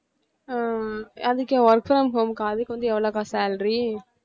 அஹ் அதுக்கு work from home க்கு அதுக்கு வந்து எவ்வளவுக்கா salary